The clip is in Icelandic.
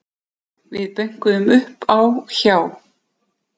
Við bönkuðum upp á hjá